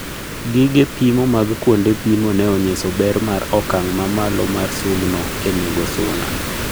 Gige pimo mag kuonde pimo ne onyiso ber mar okang' mamalo mar sum no e nego suna